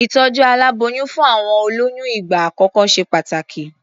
Ìtọ̀jú aláboyún fún àwọn olóyún ìgbà àkọ́kọ́ ṣe pàtàkì.